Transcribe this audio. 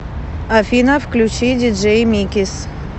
афина включи диджей микис